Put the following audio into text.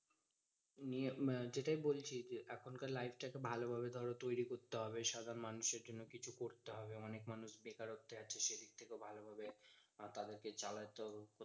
দিয়ে সেটাই বলছি যে এখনকার life টা কে ভালোভাবে ধরো তৈরী করতে হবে। সাধারণ মানুষের জন্য কিছু করতে হবে। অনেক মানুষ বেকারত্বে আছে সে দিক থেকেও ভালোভাবে তাদের কে চালাতে হবে।